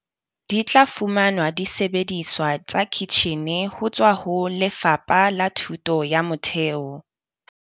Di tla fumana disebediswa tsa kitjhine ho tswa ho Lefapha la Thuto ya Motheo.